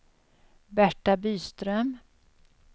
Berta Byström